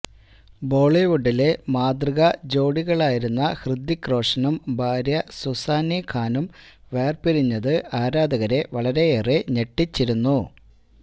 ബോളിവുഡിലെ മാതൃക ജോഡികളായിരുന്ന ഹൃത്വിക് റോഷനും ഭാര്യ സൂസാനെ ഖാനും വേര്പിരിഞ്ഞത് ആരാധകരെ വളരെയേറെ ഞെട്ടിച്ചിരുന്നു